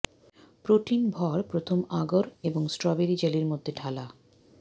protein ভর প্রথম আগর এবং স্ট্রবেরি জেলি মধ্যে ঢালা